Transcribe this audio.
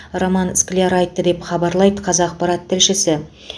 роман скляр айтты деп хабарлайды қазақпарат тілшісі